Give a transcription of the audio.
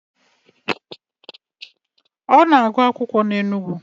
Ọ na-agụ akwụkwọ na Enugu.